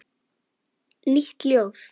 Nýtt ljóð.